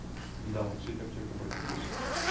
недавно сеть аптек обратилась